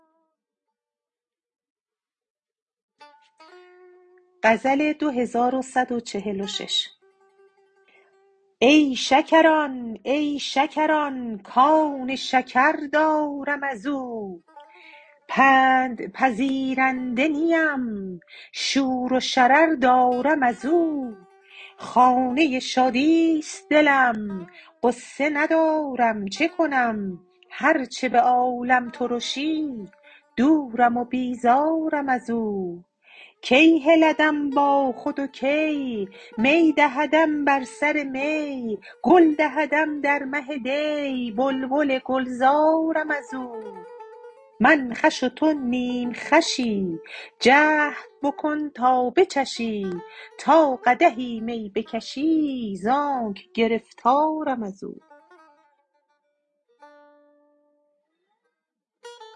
ای شکران ای شکران کان شکر دارم از او پندپذیرنده نیم شور و شرر دارم از او خانه شادی است دلم غصه ندارم چه کنم هر چه به عالم ترشی دورم و بیزارم از او کی هلدم با خود کی می دهدم بر سر می گل دهدم در مه دی بلبل گلزارم از او من خوش و تو نیم خوشی جهد بکن تا بچشی تا قدحی می بکشی ز آنک گرفتارم از او